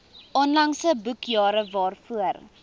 onlangse boekjare waarvoor